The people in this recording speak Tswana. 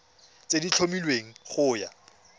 tse di tlhomilweng go ya